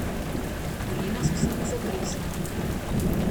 Kolena so se mi zatresla.